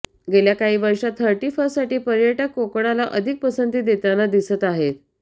गेल्याकाही वर्षात thirty first साठी पर्यटक कोकणाला अधिक पसंती देताना दिसत आहेत